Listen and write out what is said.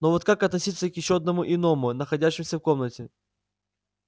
но вот как относиться к ещё одному иному находящемуся в комнате